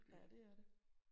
Ja det er det